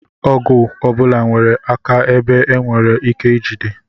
Ọgụ ọbụla nwere aka ebe e nwere ike ijide